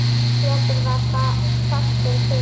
Pétur var fastur fyrir.